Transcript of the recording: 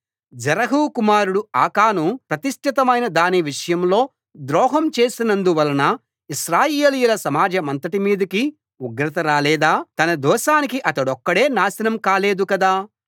జెరహు కుమారుడు ఆకాను ప్రతిష్ఠితమైన దానివిషయంలో ద్రోహం చేసినందు వలన ఇశ్రాయేలీయుల సమాజమంతటి మీదికి ఉగ్రత రాలేదా తన దోషానికి అతడొక్కడే నాశనం కాలేదు కదా